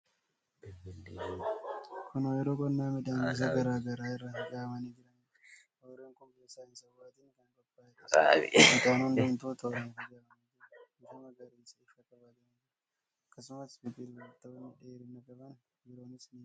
Kun oyiruu qonnaa midhaan gosa garaa garaa irra facaafamanii jiraniidha. Oyiruun kun bifa saayinsawaatiin kan qophaa'eedha. Midhaan hundumtuu tooraan facaafamanii jiru. Bifa magariisa ifaa qabatanii jiru. Akkasumas biqilootni dheerina qaban biroonis ni jiru.